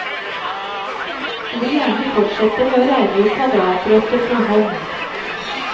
De vil gjerne fortsette med å regne ut kvadratrøtter for hånd.